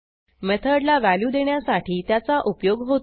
मेथडला value देण्यासाठी त्याचा उपयोग होतो